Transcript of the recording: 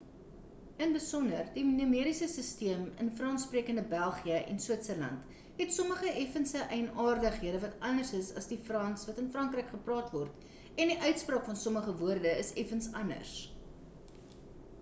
in besonder die numeriese sisteem in frans-sprekende belgië en switzerland het sommige effense eienaardighede wat anders is as die frans wat in frankryk gepraat word en die uitspraak van sommige woorde is effens anders